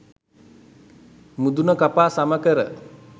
මුදුන කපා සම කර,